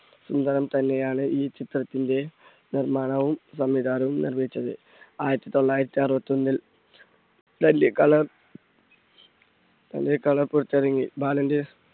ഇന്ദ്രൻ തന്നെയാണ് ഈ ചിത്രത്തിന്റെ നിർമ്മാണവും, സംവിധാനവും നിർവഹിച്ചത്. ആയിരത്തി തൊള്ളായിരത്തി അറുപത്തൊന്നിൽ നെല്ലിക്കള്ളൻ നെല്ലിക്കള്ളൻ പുറത്തിറങ്ങി ബാലന്റെ